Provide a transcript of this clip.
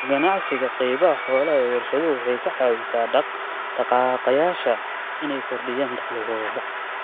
Ka ganacsiga qaybaha xoolaha ee warshaduhu waxay ka caawisaa dhaq-dhaqaaqayaasha inay kordhiyaan dakhligooda.